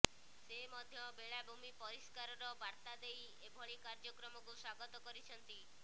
ସେ ମଧ୍ୟ ବେଳାଭୂମି ପରିଷ୍କାରର ବାର୍ତ୍ତା ଦେଇ ଏଭଳି କାର୍ଯ୍ୟକ୍ରମକୁ ସ୍ୱାଗତ କରିଛନ୍ତି